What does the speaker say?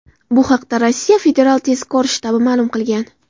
Bu haqda Rossiya federal tezkor shtabi ma’lum qilgan .